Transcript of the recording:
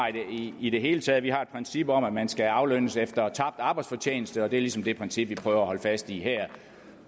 i det hele taget vi har et princip om at man skal aflønnes efter tabt arbejdsfortjeneste og det er ligesom det princip vi prøver at holde fast i her